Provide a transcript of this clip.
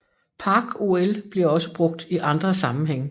Parc OL bliver også brugt i andre sammenhænge